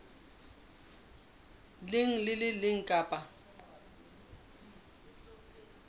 leng le le leng kapa